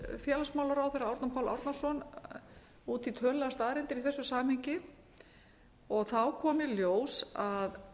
félagsmálaráðherra árna pál árnason út í tölulegar staðreyndir í þessu samhengi þá kom í ljós að